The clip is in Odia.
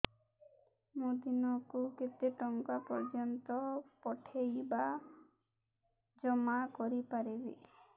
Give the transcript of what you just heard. ମୁ ଦିନକୁ କେତେ ଟଙ୍କା ପର୍ଯ୍ୟନ୍ତ ପଠେଇ ବା ଜମା କରି ପାରିବି